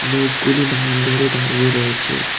লোকগুলি লাইন ধরে দাঁড়িয়ে রয়েছে।